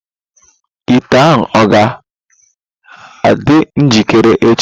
Ite ahụ ọ ga njikere echi.